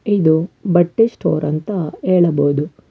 ಇದು ಬಟ್ಟೆ ಸ್ಟೋರ್ ಅಂತ ಹೇಳಬೊದು.